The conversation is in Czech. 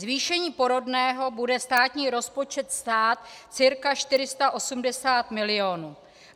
Zvýšení porodného bude státní rozpočet stát cca 480 milionů.